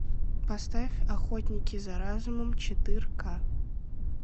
поставь охотники за разумом четырка